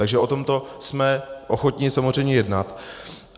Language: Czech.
Takže o tomto jsme ochotni samozřejmě jednat.